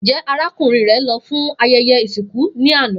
Njẹ arakunrin rẹ lọ fun awọn ayẹyẹ isinku ni ana?